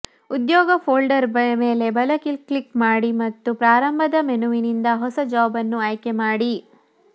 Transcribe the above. ಉದ್ಯೋಗ ಫೋಲ್ಡರ್ ಮೇಲೆ ಬಲ ಕ್ಲಿಕ್ ಮಾಡಿ ಮತ್ತು ಪ್ರಾರಂಭದ ಮೆನುವಿನಿಂದ ಹೊಸ ಜಾಬ್ ಅನ್ನು ಆಯ್ಕೆ ಮಾಡಿ